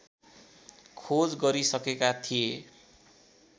खोज गरिसकेका थिए